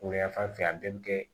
Weleyan fanfɛ a bɛɛ bɛ kɛ